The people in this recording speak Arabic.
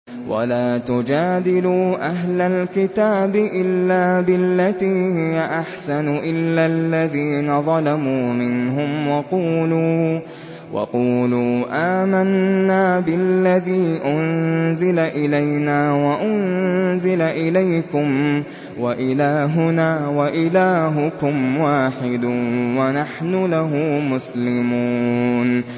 ۞ وَلَا تُجَادِلُوا أَهْلَ الْكِتَابِ إِلَّا بِالَّتِي هِيَ أَحْسَنُ إِلَّا الَّذِينَ ظَلَمُوا مِنْهُمْ ۖ وَقُولُوا آمَنَّا بِالَّذِي أُنزِلَ إِلَيْنَا وَأُنزِلَ إِلَيْكُمْ وَإِلَٰهُنَا وَإِلَٰهُكُمْ وَاحِدٌ وَنَحْنُ لَهُ مُسْلِمُونَ